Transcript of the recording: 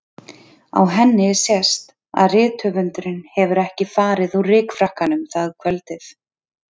Á henni sést að rithöfundurinn hefur ekki farið úr rykfrakkanum það kvöldið.